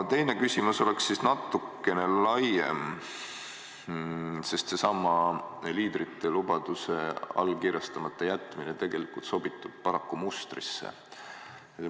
Teine küsimus on natukene laiem, sest seesama liidrite lubaduse allkirjastamata jätmine tegelikult sobitub paraku mustrisse.